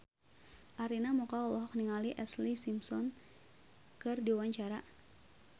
Arina Mocca olohok ningali Ashlee Simpson keur diwawancara